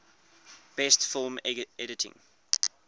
best film editing